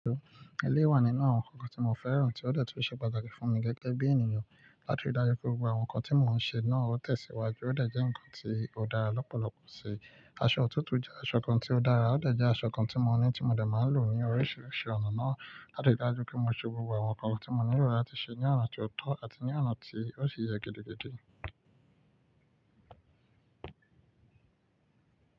Eléyí wà nínú àwọn nǹkan tí mo fẹ́ràn tí ó dẹ̀ tó se pàtàkì fún mi gẹ́gẹ́ bí ènìyàn. Láti rí dájú pé gbogbo àwọn nǹkan tí mo n ṣe náà ó tẹ̀síwájú ó dẹ̀ jẹ́ nǹkan tí ó dára lọ́pọ̀lọpọ̀ sí i. Aṣọ òtútù jẹ́ aṣọ kan tí ó dára, ó dẹ̀ jẹ́ aṣọ kan tí mo ní tí mo dẹ̀ máa n lò ní oríṣiríṣi ọ̀nà náà láti dájú pé mo ṣe gbogbo àwọn nǹkan tí mo nílò láti ṣe ní ọ̀nà tó ọ́tọ́ àti ní ọ̀nà tí ó ṣe yé gèdègèdè.